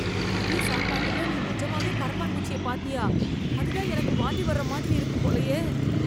மதிய சாப்பாட்டுல நீ நிஜமாவே கரப்பான் பூச்சிய பாத்தியா, அது தான் எனக்கு வாந்தி வர்ற மாதிரி இருக்கு போலயே